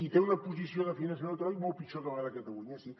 i té una posició de finançament autonòmic molt pitjor que la de catalunya sí